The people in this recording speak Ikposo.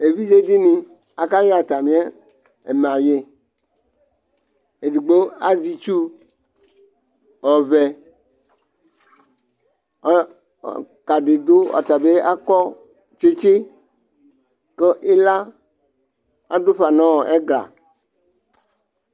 ɛvidzedini ɑkaye ɑtamiemɑyi digbo ɑzeitsu ɔve ɔlukɑ dibi ɑkɔtsitsi ku ilɑdufɑ nu ɛglɑ